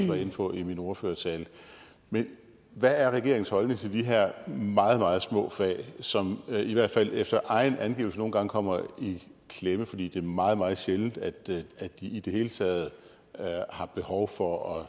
var inde på i min ordførertale men hvad er regeringens holdning til de her meget meget små fag som i hvert fald efter egen angivelse nogle gange kommer i klemme fordi det er meget meget sjældent at de at de i det hele taget har behov for